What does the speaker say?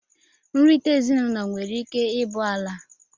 nrita ezinụlọ nwere ike ibụ ala.